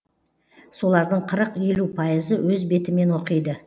солардың қырық елу пайызы өз бетімен оқиды